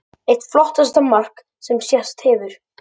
Eitt flottasta mark sem sést hefur.